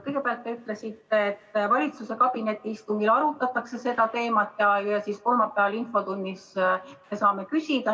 Kõigepealt te ütlesite, et valitsuskabineti istungil arutatakse seda teemat ja siis kolmapäeval infotunnis me saame küsida.